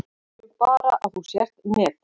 Við viljum bara að þú sért með.